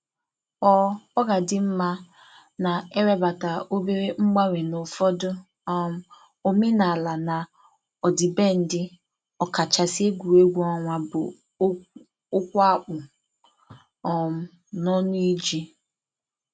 ọ ọ ga-adị mma na e webatara obere mgbanwe n’ụfọdụ um omenala na ọdịbendị, ọkachasị egwuregwu ọnwa bụ okwu akpù um n’ọnụ iji